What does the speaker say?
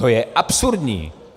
To je absurdní.